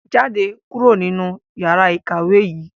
Jáde kúrò nínú yàrá ìkàwé yìí!